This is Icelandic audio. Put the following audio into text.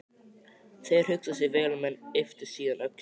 Þeir hugsuðu sig vel um en ypptu síðan öxlum.